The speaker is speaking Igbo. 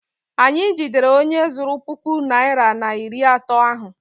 Anyị jidere onye zuru puku naịra na iri atọ ahụ.